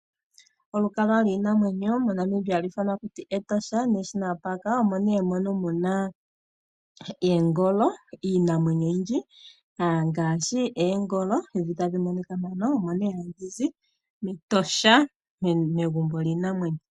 Olukalwa lwiinamwenyo moNamibia hali ithanwa taku ti Etosha National Park, omo nee mono muna iinamwenyo oyindji ngaashi oongolo ndhi tadhi monika mpano, omo nee hadhi zi mEtosha, megumbo lyiinamwenyo.